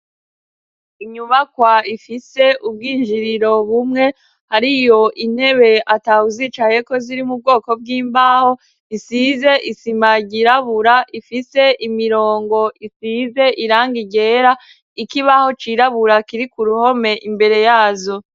Inyubakwa ifise ubw'injiriro bumwe hariyo intebe atawuzicayeko ziri mu bwoko bw'imbaho isize isima ryirabura ifise imirongo isize irangi ryera, ikibaho cirabura kiri ku ruhome imbere yazo.